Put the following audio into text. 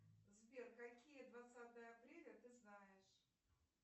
сбер какие двадцатое апреля ты знаешь